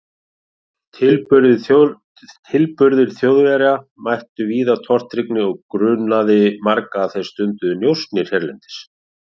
Tilburðir Þjóðverjar mættu víða tortryggni og grunaði marga að þeir stunduðu njósnir hérlendis.